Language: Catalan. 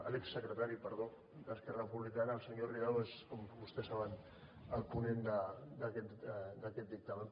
l’exsecretari perdó d’esquerra republicana el senyor ridao és com vostès saben el ponent d’aquest dictamen